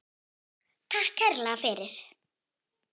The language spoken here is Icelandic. Takk kærlega fyrir.